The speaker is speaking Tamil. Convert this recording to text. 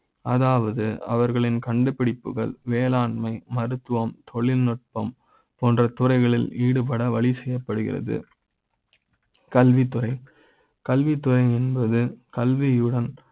அதாவது அவர்களின் கண்டுபிடிப்புகள், வேளாண்மை, மருத்துவ ம் தொழில்நுட்ப ம் போன்ற துறைகளில் ஈடுபட வழி செய்ய ப்படுகிறது கல்வி துறை கல்வி துறை என்பது கல்வி யுடன்